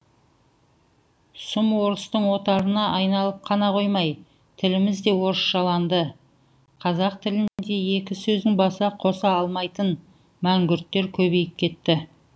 сұм орыстың отарына айналып қана қоймай тіліміз де орысшаланды қазақ тілінде екі сөздің басын қоса алмайтын мәңгүрттер көбейіп кетті